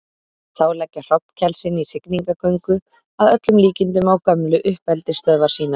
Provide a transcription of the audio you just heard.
Þá leggja hrognkelsin í hrygningargöngu, að öllum líkindum á gömlu uppeldisstöðvar sínar.